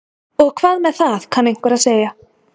Og hvað með það kann einhver að segja.